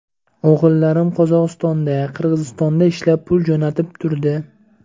O‘g‘illarim Qozog‘istonda, Qirg‘izistonda ishlab, pul jo‘natib turdi.